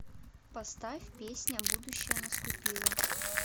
поставь песня будущее наступило